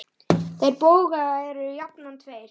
Þeir bógar eru jafnan tveir.